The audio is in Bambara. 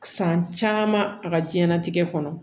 San caman a ka diɲɛnatigɛ kɔnɔ